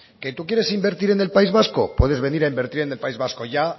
que tú quieres invertir en el país vasco puedes venir a invertir en el país vasco ya